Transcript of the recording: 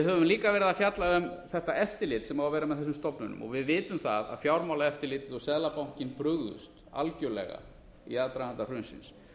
höfum líka verið að fjalla um þetta eftirlit sem á að vera með þessum stofnunum við vitum það að fjármálaeftirlitið og seðlabankinn brugðust algjörlega í aðdraganda hrunsins